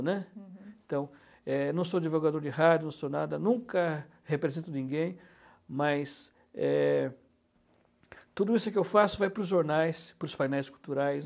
né, uhum. Então, é, não sou divulgador de rádio, não sou nada, nunca represento ninguém, mas, é, tudo isso que eu faço vai para os jornais, para os painéis culturais.